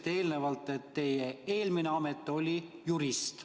Te ütlesite, et teie eelmine amet oli jurist.